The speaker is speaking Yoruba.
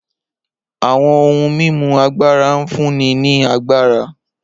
Awọn ohun mimu agbara n funni ni agbara